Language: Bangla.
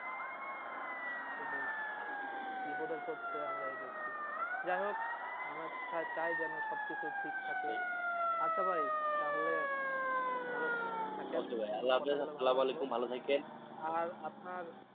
যাই হোক আমরা চাই যেন সবকিছু ঠিক থাকে আচ্ছা ভাই তাহলে ভালো থাকেন okay ভাই আল্লাহ হাফিজ সালাম আলাইকুম ভালো থাকেন আর আপনার